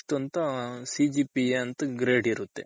ಇಷ್ಟ್ ಅಂತ CGPA Grade ಇರುತ್ತೆ.